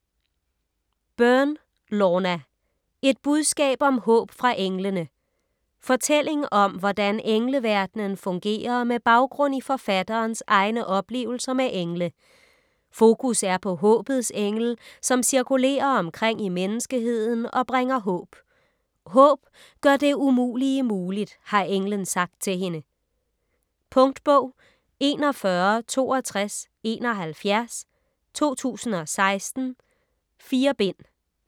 Byrne, Lorna: Et budskab om håb fra englene Fortælling om hvordan engleverdenen fungerer med baggrund i forfatterens egne oplevelser med engle. Fokus er på håbets engel, som cirkulerer omkring i menneskeheden og bringer håb. "Håb gør det umulige muligt", har englen sagt til hende. Punktbog 416271 2016. 4 bind.